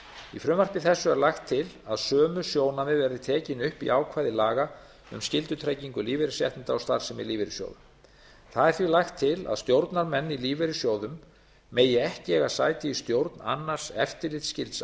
í frumvarpi þessu er lagt til að sömu sjónarmið verði tekin upp í ákvæði laga um skyldutryggingu lífeyrisréttinda og starfsemi lífeyrissjóða það er því lagt til að stjórnarmenn í lífeyrissjóðum megi ekki eiga sæti í stjórn annars eftirlitsskylds